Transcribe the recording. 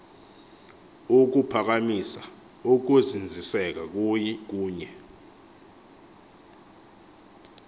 ukuphakamisa ukuzinziseka kunye